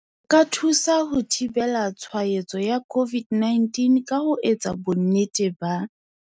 O ka thusa ho thibela tshwaetso ya COVID-19 ka ho etsa bonnete ba,